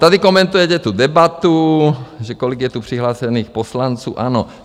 Tady komentujete tu debatu, že kolik je tu přihlášených poslanců ANO.